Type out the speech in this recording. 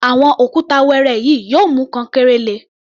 Àwọn òkúta wẹẹrẹ yìí yóò mú kankéré le.